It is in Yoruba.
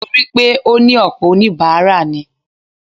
Torí pé ó ní ọ̀pọ̀ oníbàárà ni.